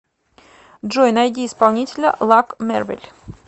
джой найди исполнителя лак мервил